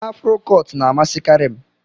Afro cọt na amasi kari m.